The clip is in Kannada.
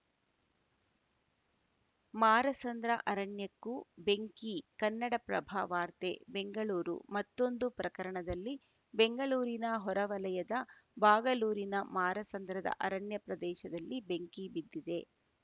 ಮಾರಸಂದ್ರ ಅರಣ್ಯಕ್ಕೂ ಬೆಂಕಿ ಕನ್ನಡಪ್ರಭ ವಾರ್ತೆ ಬೆಂಗಳೂರು ಮತ್ತೊಂದು ಪ್ರಕರಣದಲ್ಲಿ ಬೆಂಗಳೂರಿನ ಹೊರವಲಯದ ಬಾಗಲೂರಿನ ಮಾರಸಂದ್ರದ ಅರಣ್ಯ ಪ್ರದೇಶದಲ್ಲಿ ಬೆಂಕಿ ಬಿದ್ದಿದೆ